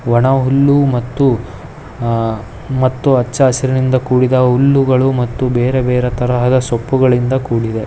ಒಣಹುಲ್ಲು ಮತ್ತು ಅಹ್ ಮತ್ತು ಅಚ್ಚ ಹೊಸೂರಿನಿಂದ ಕೂಡಿದ ಹುಲ್ಲುಗಳು ಮತ್ತು ಬೇರೆ ಬೇರೆ ತರಹದ ಸೊಪ್ಪುಗಳಿಂದ ಕೂಡಿದೆ .